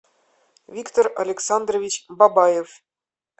виктор александрович бабаев